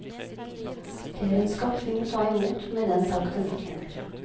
Det er en skatt vi må ta imot med den takk den fortjener.